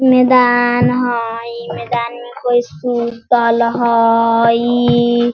मैदान हई मैदान में कोई सुतल हई।